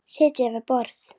Sitja við borð